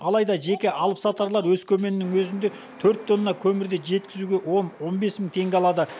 алайда жеке алыпсатарлар өскеменнің өзінде төрт тонна көмірді жеткізуге он он бес мың теңге алады